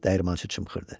dəyirmançı çımxırdı.